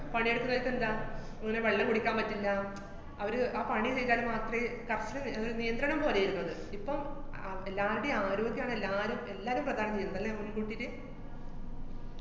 പണിയെടുക്കുന്നേടത്തെന്താ, ഇങ്ങനെ വെള്ളം കുടിക്കാന്‍ പറ്റില്ല, അവര് ആ പണി ചെയ്താല്‍ മാത്രേ കര്‍ശ~ അത് നിയന്ത്രണം പോലെര്ന്നു അത്. ഇപ്പം അതെല്ലാരുടേം ആരോഗ്യാണ് എല്ലാരും എല്ലാരും പ്രധാനം ചെയ്യുന്നത്, ല്ലേ, മ്മളെക്കൂട്ടീട്ട്.